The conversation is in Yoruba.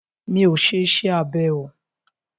Mi ọ̀ ṣe iṣẹ́ abẹ o.